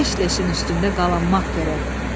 leş leşin üstündə qalanmaq gərək.”